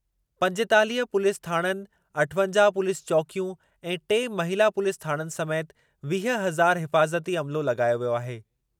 पंजेतालीह पु्लीस थाणनि, अठवंजाहु पुलीस चौकियूं ऐं टे महिला पुलीस थाणनि समेति वीह हज़ार हिफ़ाज़ती अमिलो लॻायो वियो आहे।